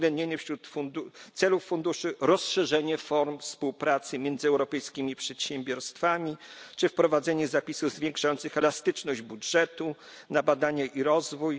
uwzględnienie wśród celów funduszu rozszerzenia form współpracy między europejskimi przedsiębiorstwami czy wprowadzenie zapisów zwiększających elastyczność budżetu na badania i rozwój.